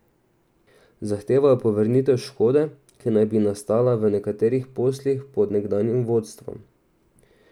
Zahtevajo povrnitev škode, ki naj bi nastala v nekaterih poslih pod nekdanjim vodstvom.